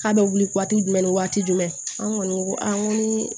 K'a bɛ wuli waati jumɛn ni waati jumɛn an kɔni ko an ko ni